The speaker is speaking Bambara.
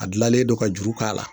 A gilalen don ka juru k'a la